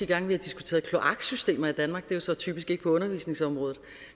gange vi har diskuteret kloaksystemer i danmark det er jo så typisk ikke på undervisningsområdet